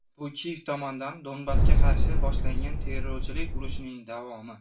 Bu Kiyev tomonidan Donbassga qarshi boshlangan terrorchilik urushining davomi.